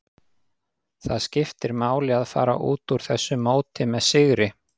Það skiptir máli að fara út úr þessu móti með sigri.